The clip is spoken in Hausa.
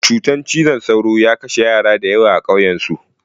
Cutar cizon sauro ya kashe yara da yawa a ƙauyan su